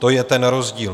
To je ten rozdíl.